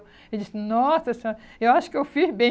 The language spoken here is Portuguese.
Ele disse, nossa senhora, eu acho que eu fiz bem.